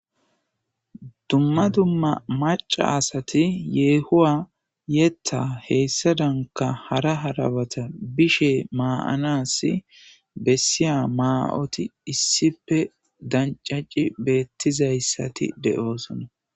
Dumma dumma maca asati yehuwa yeta hesadaka hara hara batan bishe ma'anas bseya ma'oti issipe dancaci betizaysati de'osona